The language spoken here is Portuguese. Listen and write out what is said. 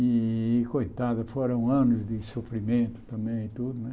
E, coitada, foram anos de sofrimento também e tudo, né?